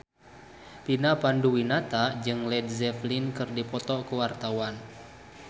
Vina Panduwinata jeung Led Zeppelin keur dipoto ku wartawan